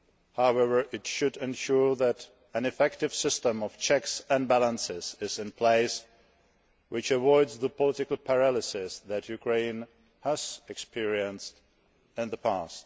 However, it should ensure that an effective system of checks and balances is in place which avoids the political paralysis that Ukraine has experienced in the past.